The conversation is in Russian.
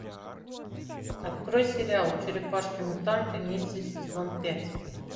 открой сериал черепашки мутанты ниндзя сезон пять